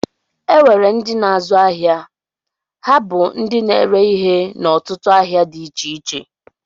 E nwere ndị na-azu áhiá, ha bú ndị na-ere ihe n'otutu ahịa dị iche iche.